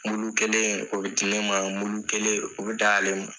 Mulu kɛlen o bɛ di ne ma mulu kelen o bɛ d'ale ma.